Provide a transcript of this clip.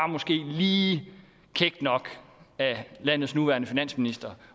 lige kækt nok af landets nuværende finansminister